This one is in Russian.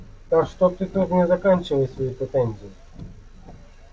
так что ты мне тут мне заканчивай свои претензии